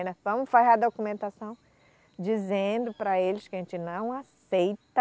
Vamos fazer a documentação dizendo para eles que a gente não aceita